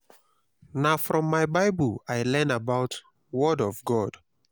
na from my bible i learn about word of god.